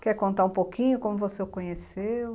Quer contar um pouquinho como você o conheceu?